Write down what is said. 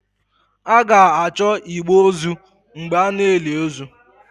A ga-achọ igbe ozu mgbe a na-eli ozu